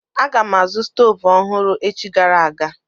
Aga m azụ stoovu ọhụrụ echi gara aga.